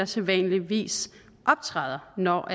sædvanligvis optræder når